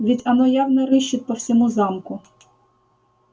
ведь оно явно рыщет по всему замку